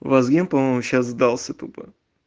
вазген по-моему сейчас сдасца тупо